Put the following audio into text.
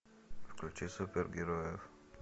включи супергероев